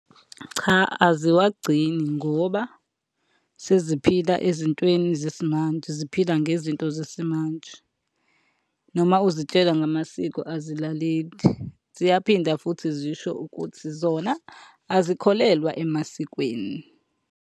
Cha aziwagcini ngoba, seziphila ezintweni zesimanje, ziphila ngezinto zesimanje noma uzitshela ngamasiko azilaleli. Ziyaphinda futhi zisho ukuthi zona azikholelwa emasikweni.